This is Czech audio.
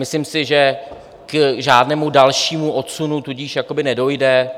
Myslím si, že k žádnému dalšímu odsunu tudíž nedojde.